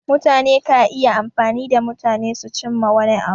Mutane ka iya amfani da mutane su cimma wani abu.